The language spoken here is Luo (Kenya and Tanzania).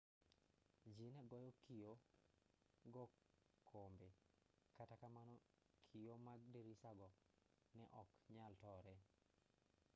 ji ne goyo kio go kombe kata kamano kio mag dirisago ne ok nyal tore